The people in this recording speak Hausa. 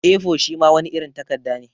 A4 shima wani irin takadda ne.